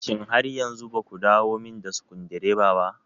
Shin har yanzu baku dawomin da sukundireba ba?